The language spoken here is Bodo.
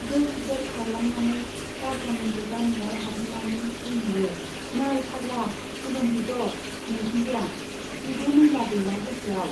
दोर दोर खारलांनानै दारजां उन्दुग्रा न'आव हाबहैनानै बुंहैयो, नै फाग्ला, खुलुमहैद' नोंखुनजोआ, जेबो मैला गैला गोसोआव।